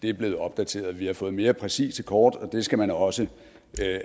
er blevet opdateret vi har fået mere præcise kort og det skal man også